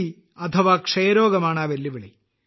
B അഥവാ ക്ഷയ രോഗം ആണ് ആ വെല്ലുവിളി